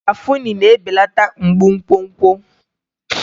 Garafuni na-ebelata mgbu nkwonkwo.